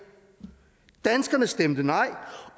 danskerne stemte nej